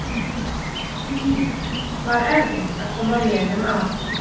Því var erfitt að koma vélum að.